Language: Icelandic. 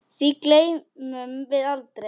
Því gleymum við aldrei.